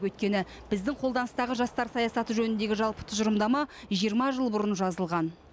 өйткені біздің қолданыстағы жастар саясаты жөніндегі жалпы тұжырымдама жиырма жыл бұрын жазылған